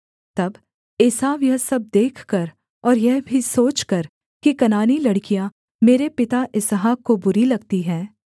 तब एसाव यह सब देखकर और यह भी सोचकर कि कनानी लड़कियाँ मेरे पिता इसहाक को बुरी लगती हैं